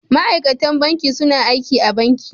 Ma'aikatan banki suna aiki a banki.